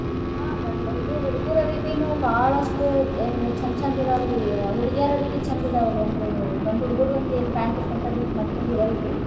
ಹ ಗಂ~ ಹುಡ್ಗುರ್ ಅರ್ಬಿನೂ ಬಾಳಷ್ಟ್ ಹಿಂಗ್ ಚಂದ್ ಚಂದ್ ಅದಾವ್ ರೀ ಅ ಹುಡ್ಗೇರ್ ಅರ್ಬಿ ಚಂದ್ ಅದಾವ್ ರೀ ಅಂದ್ರುನು ಗಂಡ್ಹುಡ್ಗೂರ್ pant shirt ಬಿಟ್ಟ್ ಮತ್ತೊಂದ್ ಇರಲ್ ರೀ.